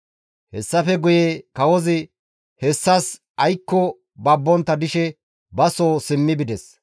Hessafe guye kawozi hessas aykko babbontta dishe ba soo simmi bides.